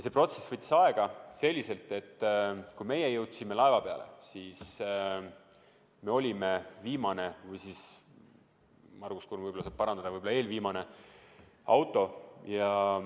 See protsess võttis aega ja kui meie jõudsime laeva peale, siis me olime viimane või siis – Margus Kurm võib-olla saab parandada – eelviimane auto.